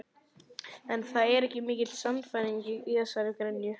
En það var ekki mikil sannfæring í þessari gremju.